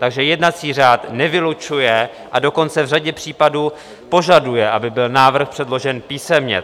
Takže jednací řád nevylučuje, a dokonce v řadě případů požaduje, aby byl návrh předložen písemně.